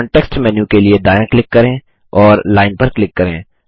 context menu के लिए दायाँ क्लिक करें और Lineपर क्लिक करें